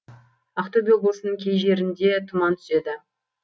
ақтөбе облысының кей жерінде тұман түседі